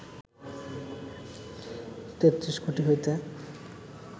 তেত্রিশ কোটি হইতে